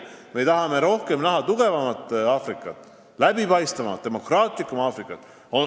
Me tahame näha tugevamat Aafrikat, läbipaistvamat, demokraatlikumat Aafrikat.